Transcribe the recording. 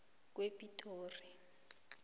kwepitori